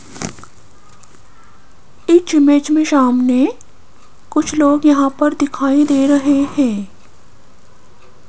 इस इमेज में सामने कुछ लोग यहां पर दिखाई दे रहे हैं।